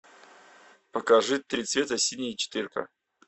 покажи три цвета синий четыре ка